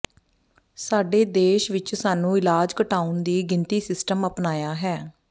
ਸਾਡੇ ਦੇਸ਼ ਵਿਚ ਸਾਨੂੰ ਇਲਾਜ ਘਟਾਉਣ ਦੀ ਗਿਣਤੀ ਸਿਸਟਮ ਅਪਣਾਇਆ ਹੈ